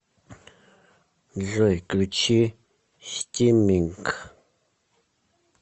джой включи стимминг